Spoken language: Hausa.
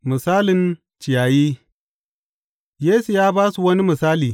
Misalin ciyayi Yesu ya ba su wani misali.